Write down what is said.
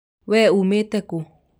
wee Umìte kúú?